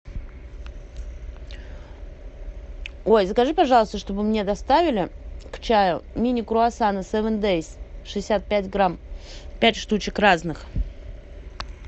ой закажи пожалуйста чтобы мне доставили к чаю мини круассаны севен дейс шестьдесят пять грамм пять штучек разных